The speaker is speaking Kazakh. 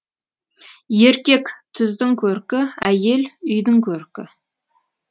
еркек түздің көркі әйел үйдің көркі